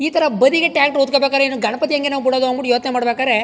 ಈ ತರ ಬದಿಗೆ ಟ್ರಾಕ್ಟರ್ ಹೊತ್ತಕೊಬೇಕಾದ್ರೆ ಗಣಪತಿ ಹೆಂಗ್ ನಾವು ಬಿಡೋದು ಯೋಚನೆ ಮಾಡಬೇಕಾರೆ --